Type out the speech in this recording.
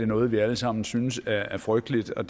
noget vi alle sammen synes er frygteligt og